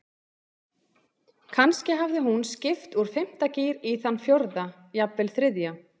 Kannski hafði hún skipt úr fimmta gír í þann fjórða, jafnvel þriðja.